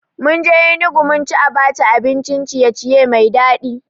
Munje Enugu munci Abacha abin ciye-ciye mai daɗi